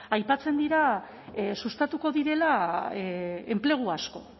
aipatzen dira sustatuko direla enplegu asko